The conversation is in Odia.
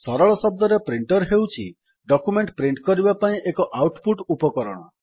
ସରଳ ଶବ୍ଦରେ ପ୍ରିଣ୍ଟର୍ ହେଉଛି ଡକ୍ୟୁମେଣ୍ଟ୍ ପ୍ରିଣ୍ଟ୍ କରିବା ପାଇଁ ଏକ ଆଉଟ୍ ପୁଟ୍ ଉପକରଣ